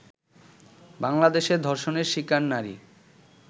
বাংলাদেশে ধর্ষণের শিকার নারী